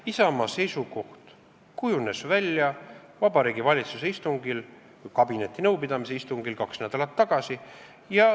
Isamaa seisukoht kujunes välja Vabariigi Valitsuse istungil või kabinetinõupidamisel kaks nädalat tagasi.